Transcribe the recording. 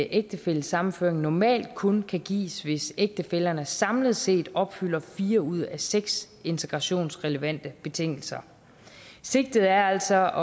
ægtefællesammenføring normalt kun kan gives hvis ægtefællerne samlet set opfylder fire ud af seks integrationsrelevante betingelser sigtet er altså